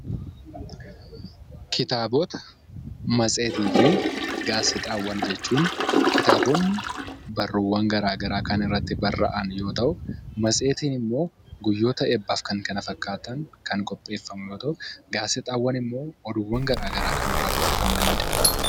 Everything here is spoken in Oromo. Kitaabota, matseetii fi gaazexaawwan jechuun kitaabonni barruuwwan garaagaraa kan irratti barraa'an yoo ta'u, matseetiin immoo guyyoota eebbaa fi kan kana fakkaatan kan qopheeffamu yoo ta'u, gaazexaawwan immoo oduuwwan garaagaraa kan irraa dubbifamanii dha.